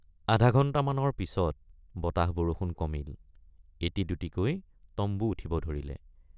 আধাঘণ্টামানৰ পিচত বতাহবৰষুণ কমিল এটি দুটিকৈ তম্বু উঠিব ধৰিলে।